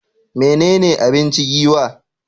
Menene abinci Giwa?